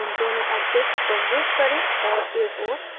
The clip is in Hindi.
इन दोनों objects को move करें और एक ओर रखें